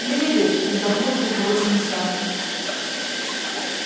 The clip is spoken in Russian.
не выйдет вздохнул полковой комиссар